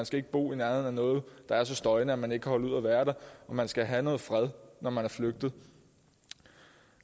skal bo i nærheden af noget der er så støjende at man ikke kan holde ud at være der og man skal have noget fred når man er flygtet